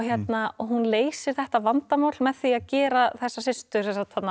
hún leysir þetta vandamál með því að gera þessar systur